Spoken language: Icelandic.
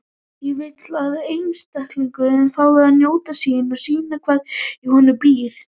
Ég vil að einstaklingurinn fái að njóta sín og sýna hvað í honum býr.